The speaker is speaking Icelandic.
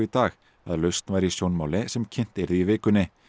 dag að lausn væri í sjónmáli sem kynnt yrði í vikunni